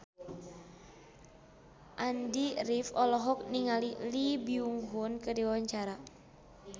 Andy rif olohok ningali Lee Byung Hun keur diwawancara